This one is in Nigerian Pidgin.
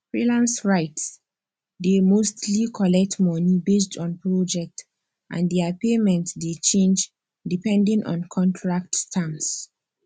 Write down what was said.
freelance writes dey mostly collect money based on project and their payment dey change depending on contract terms